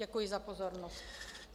Děkuji za pozornost.